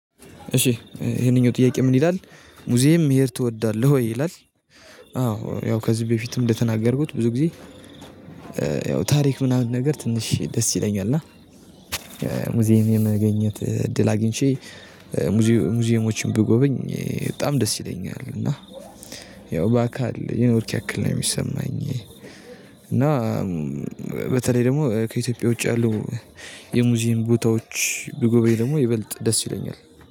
እሺ ይሄንኛው ጥያቄ ምን ይላል ሙዚየም መሄድ ትወዳለህ ወይ ይላል? አዎ ያው ከዚህ በፊትም እንደተናገርኩት ብዙ ጊዜ። ያው ታሪክ ምናምን ነገር ትንሽ ደስ ይለኛል። እና ሙዚየም የመገኘት እድል አግኝቼ ሙዚየሞችን ብጎበኝ በጣም ደስ ይለኛል። እና በአካል የኖርክ ያክል ነው የሚሰማኝ። እና በተለይ ደግሞ ከኢትዮጵያ ውጭ ያሉ የሙዚየም ቦታዎች ብጎበኝ ደግሞ ይበልጥ ደስ ይለኛል።